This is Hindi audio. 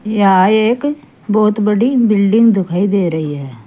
यह एक बहुत बड़ी बिल्डिंग दिखाई दे रही है।